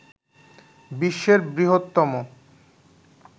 বিশ্বের বৃহত্তম